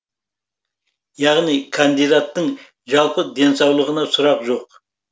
яғни кандидаттың жалпы денсаулығына сұрақ жоқ